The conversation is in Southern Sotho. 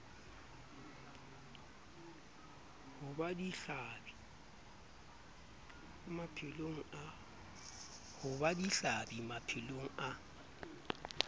ho ba dihlabi maphelong a